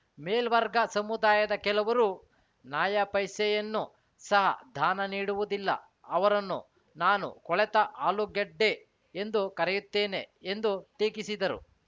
ಮೇಲ್ವರ್ಗ ಸಮುದಾಯದ ಕೆಲವರು ನಯಾಪೈಸೆಯನ್ನು ಸಹ ದಾನ ನೀಡುವುದಿಲ್ಲ ಅವರನ್ನು ನಾನು ಕೊಳೆತ ಆಲೂಗಡ್ಡೆ ಎಂದು ಕರೆಯುತ್ತೇನೆ ಎಂದು ಟೀಕಿಸಿದರು